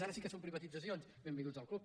ara sí que són privatitzacions b envinguts al club